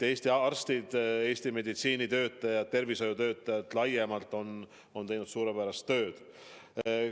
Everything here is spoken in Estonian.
Eesti arstid ja laiemalt kõik Eesti meditsiinitöötajad, kõik tervishoiutöötajad on teinud suurepärast tööd.